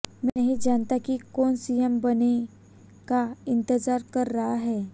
मैं नहीं जानता कि कौन सीएम बनने का इंतजार कर रहा है